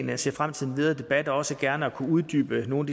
jeg ser frem til den videre debat og til også gerne at kunne uddybe nogle